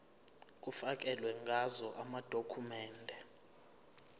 kufakelwe ngazo amadokhumende